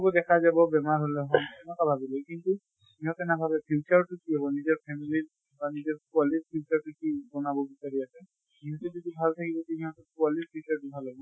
ব দেখা যাব বেমাৰ হʼলে এনকা ভাবি লয়। কিন্তু ইহঁতে নাভাবে future তো কি হʼব, নিজৰ family ৰ বা নিজৰ পোৱালীৰ future তো কি বনাব বিচাঁৰি আছে। নিজে যদি ভাল থাকিব তুমি আকৌ পোৱালীৰ future ভাল হʼব না?